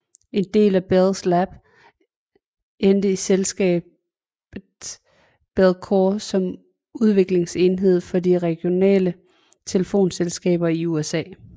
En del af Bell Labs endte i selskabet Bellcore som udviklingsenhed for de regionale telefonselskaber i USA